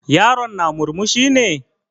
Yaron na murmushi ne?